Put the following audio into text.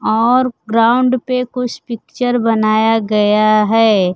और ग्राउंड पे कुछ पिक्चर बनाया गया है।